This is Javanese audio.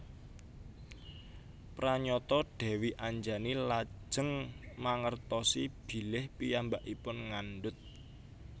Pranyata Dèwi Anjani lajeng mangertosi bilih piyambakipun ngandhut